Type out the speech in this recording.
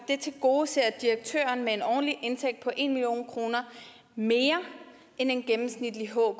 tilgodeser direktøren med en årlig indtægt på en million kroner mere end en gennemsnitlig hker og